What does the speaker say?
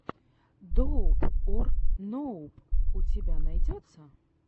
доуп ор ноуп у тебя найдется